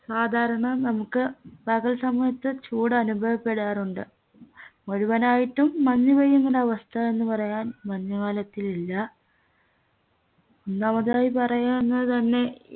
സാധാരണ നമുക്ക് പകൽ സമയത്ത് ചൂട് അനുഭവപ്പെടാറുണ്ട് മുഴുവനായിട്ടും മഞ്ഞുപെയ്യുന്നിങ്ങനവസ്ഥ എന്ന് പറയാൻ മഞ്ഞുകാലത്തിലില്ല ഒന്നാമതായി പറയാനുള്ളതന്നെ